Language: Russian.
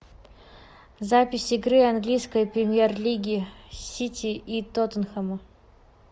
запись игры английской премьер лиги сити и тоттенхэмом